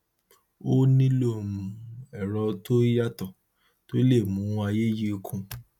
ó nílò um ẹrọ tó yàtọ tó lè mú ààyè yìí kún